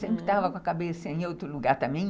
Sempre estava com a cabeça em outro lugar também.